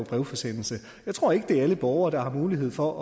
brevforsendelse jeg tror ikke det er alle borgere der har mulighed for